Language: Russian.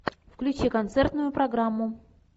включи концертную программу